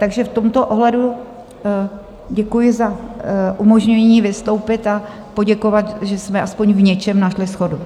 Takže v tomto ohledu děkuji za umožnění vystoupit a poděkovat, že jsme aspoň v něčem našli shodu.